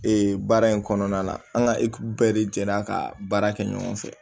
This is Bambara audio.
Ee baara in kɔnɔna la an ka bɛɛ de jɛra ka baara kɛ ɲɔgɔn fɛ